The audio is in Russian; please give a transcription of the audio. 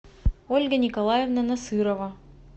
ольга николаевна насырова